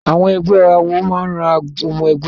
Àwọn ẹgbẹ́ àwọ máa ran ọmọ-ẹgbẹ́ lọ́wọ́.